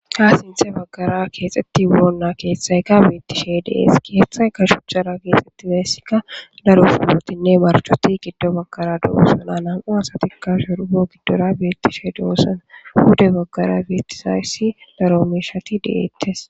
ha sinthe baggara keexetti boolna keeththayka beettishe dees keeththay ka shuchara keexxetti beessikka daro funotinne marchoti giddo baggara do7osana nam"u asatikka surugo giddora beettishe doossana huda baggara beetisayssi daro mishati deettes.